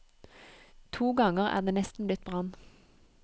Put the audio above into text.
To ganger er det nesten blitt brann.